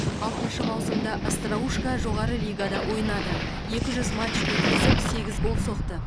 алтыншы маусымда остроушко жоғары лигада ойнады екі жүз матч өткізіп сегіз гол соқты